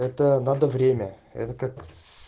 это надо время это как с